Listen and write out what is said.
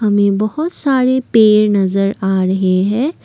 में बहोत सारे पेड़ नजर आ रहे हैं।